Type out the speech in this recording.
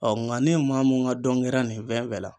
ŋa ni maa mun ŋa dɔn kɛra nin fɛn fɛn la